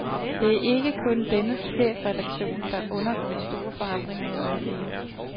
Det er ikke kun dennes chefredaktion, der undergår store forandringer i øjeblikket.